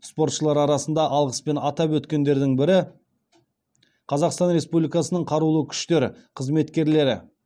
спортшылар арасында алғыспен атап өткендердің бірі қазақстан республикасының қарулы күштері қызметкерлері